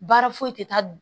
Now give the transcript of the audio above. Baara foyi tɛ taa